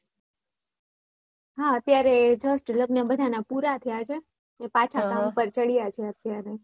હાઅત્યારે just લગ્ન બધાના પુરા થયા છે પાછા કામ પર ચડ્યા છે અત્યારે